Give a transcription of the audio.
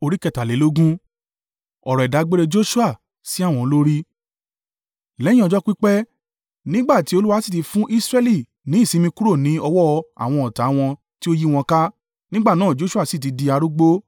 Lẹ́yìn ọjọ́ pípẹ́, nígbà tí Olúwa sì ti fún Israẹli ní ìsinmi kúrò ní ọwọ́ àwọn ọ̀tá wọn tí ó yí wọn ká, nígbà náà Joṣua sì ti di arúgbó.